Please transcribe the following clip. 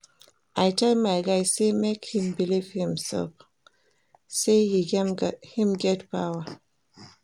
I tell my guy sey make im believe in imsef sey im get power.